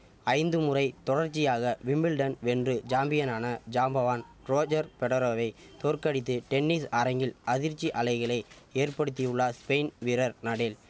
ஐந்துமுறை தொடர்ச்சியாக விம்பிள்டன் வென்று ஜாம்பியனான ஜாம்பவான் ரோஜர் பெடரோரரை தோற்கடித்து டென்னிஸ் அரங்கில் அதிர்ச்சி அலைகளை ஏற்படுத்தியுள்ளா ஸ்பெயின் வீரர் நடேல்